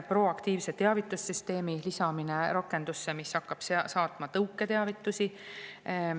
Teiseks lisada rakendusse proaktiivse teavitussüsteemi, mis hakkab saatma tõuketeavitusi.